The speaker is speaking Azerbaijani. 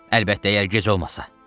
Əlbəttə, əgər gec olmasa.